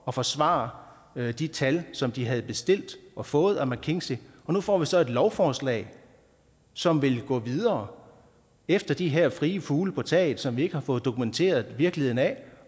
og forsvare de tal som de havde bestilt og fået af mckinsey nu får vi så et lovforslag som vil gå videre efter de her frie fugle på taget som vi ikke har fået dokumenteret virkeligheden af